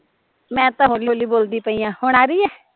ਆਵਾਜ਼ ਮੈਂ ਤਾਂ ਹੋਲੀ ਹੋਲੀ ਬੋਲਦੀ ਪਈ ਆ, ਹੁਣ ਆ ਰਹੀ ਐ